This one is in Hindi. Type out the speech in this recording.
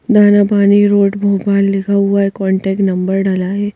दाना पानी रोड भोपाल लिखा हुआ है कांटेक्ट नंबर डला है।